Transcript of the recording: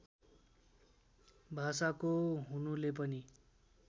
भाषाको हुनुले पनि